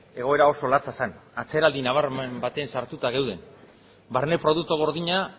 egoera oso latza zen atzeraldi nabarmen batean sartuta geunden barne produktu gordina